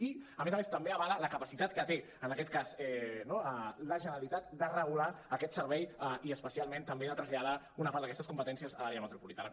i a més a més també avala la capacitat que té en aquest cas no la generalitat de regular aquest servei i especialment també de traslladar una part d’aquestes competències a l’àrea metropolitana